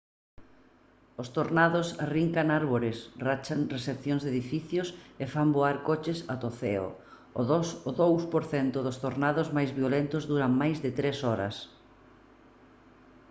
os tornados arrincan árbores rachan seccións de edificios e fan voar coches ata o ceo. o 2 % dos tornados máis violentos duran máis de tres horas